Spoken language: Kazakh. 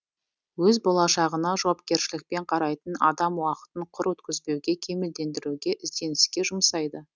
өз болашағына жауапкершілікпен қарайтын адам уақытын құр өткізбеуге кемелдендіруге ізденіске жұмсайды